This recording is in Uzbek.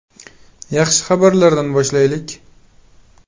Yaxshi xabarlardan boshlaylik.